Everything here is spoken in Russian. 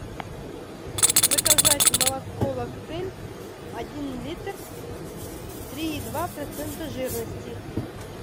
заказать молоко лактель один литр три и два процента жирности